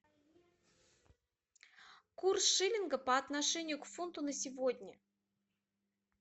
курс шиллинга по отношению к фунту на сегодня